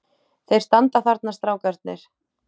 Þeir standa þarna strákarnir.